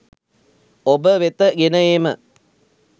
ඔබවෙත ගෙන ඒම